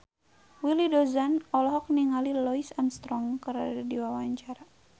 Willy Dozan olohok ningali Louis Armstrong keur diwawancara